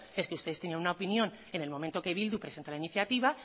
es que ustedes tenían una opinión en el momento que bildu presentó la iniciativa